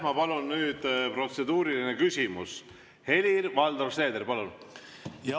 Ma palun nüüd protseduuriline küsimus, Helir-Valdor Seeder!